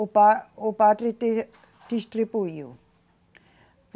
O pa, o padre de distribuiu.